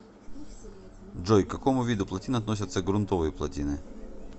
джой к какому виду плотин относятся грунтовые плотины